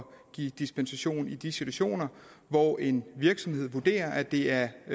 give dispensation i de situationer hvor en virksomhed vurderer at det er